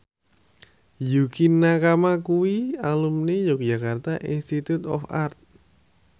Yukie Nakama kuwi alumni Yogyakarta Institute of Art